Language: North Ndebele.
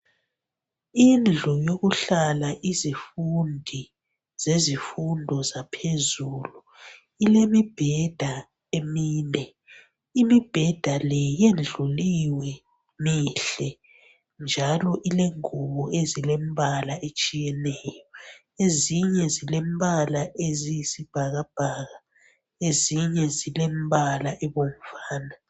Indlu yokuhlala izifundi zezifundo zaphezulu, ilemibheda emine, imibheda le yendluliwe mihle njalo ilengubo ezilemibala etshiyeneyo, ezinye zilembala eziyisibhakabhaka, ezinye zilembala ebomvana.